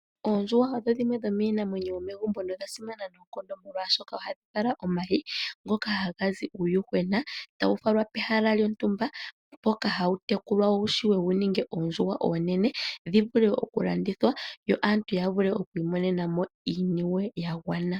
Oondjuhwa odho dhimwe dhomiinamwenyo yomegumbo nodha simana noonkondo, molwashoka ohadhi vala omayi ngoka haga zi uuyuhwena, tawu falwa pehala lyontumba mpoka hawu tekulwa wu vule wu ninge oondjuhwa oonene, dhi vule okulandithwa, yo aantu ya vule okwiimonena mo iiniwe ya gwana.